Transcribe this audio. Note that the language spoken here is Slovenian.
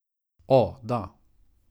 O, da.